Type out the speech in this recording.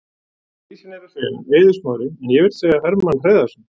Klisjan er að segja Eiður Smári en ég vill frekar segja Hermann Hreiðarsson.